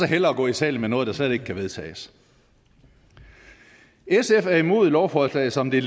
hellere i salen med noget der slet ikke kan vedtages sf er imod lovforslaget som det